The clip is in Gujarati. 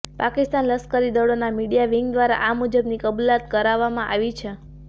પાકિસ્તાન લશ્કરી દળોના મિડયા વિંગ દ્વારા આ મુજબની કબૂલાત કરવામાં આવી છે